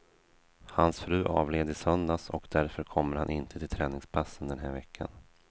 Hans fru avled i söndags och därför kommer han inte till träningspassen den här veckan.